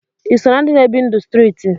Iso na ndi na ebi ndụ striti?